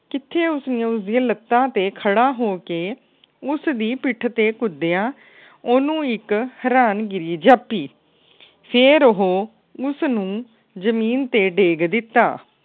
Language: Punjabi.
ਕਿਥੇ ਉਸਨੂੰ ਉਸ ਦੀਆ ਲੱਤਾਂ ਤੇ ਖੜਾ ਹੋ ਕੇ ਉਸ ਦੀ ਪਿੱਠ ਤੇ ਕੁਦਿਆ ਓਹਨੂੰ ਇਕ ਹੈਰਾਨ ਗਿਰੀ ਜਾਪੀ ਫੇਰ ਉਹ ਉਸ ਨੂੰ ਜਮੀਨ ਤੇ ਡੇਗ ਦਿੱਤਾ।